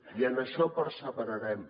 i en això perseverarem